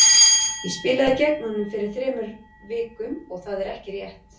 Ég spilaði gegn honum fyrir þremur vikum og það er ekki rétt.